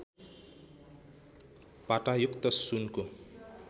पातायुक्त सुनको